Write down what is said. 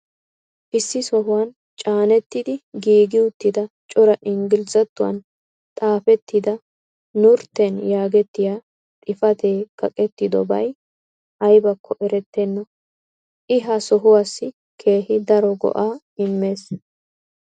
issi sohuwan caanettidi giigi uttida cora ingglizzattuwan xaafettida "nurten" yaagettiya xifatee kaqetidobay aybakko erettenna. i ha sohuwaassi keehi daro go'aa immees.